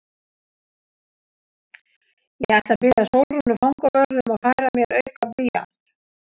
Ég ætla að biðja Sólrúnu fangavörð um að færa mér auka blýant.